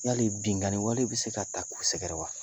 Yali binkani wale bɛ se ka ta ku sɛgɛrɛ wa